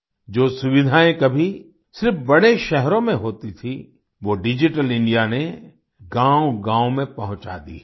जो सुविधाएं कभी सिर्फ बड़े शहरों में होती थी वो डिजिटल इंडिया ने गाँवगाँव में पहुंचा दी हैं